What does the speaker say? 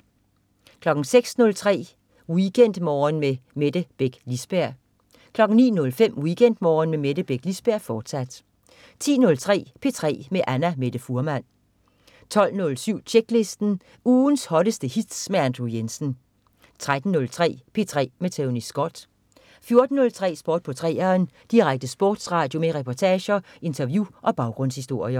06.03 WeekendMorgen med Mette Beck Lisberg 09.05 WeekendMorgen med Mette Beck Lisberg, fortsat 10.03 P3 med Annamette Fuhrmann 12.07 Tjeklisten. Ugens hotteste hits med Andrew Jensen 13.03 P3 med Tony Scott 14.03 Sport på 3'eren. Direkte sportsradio med reportager, interview og baggrundshistorier